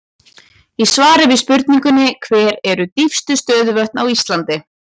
Í svari við spurningunni Hver eru dýpstu stöðuvötn á Íslandi?